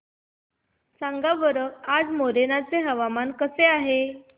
सांगा बरं आज मोरेना चे हवामान कसे आहे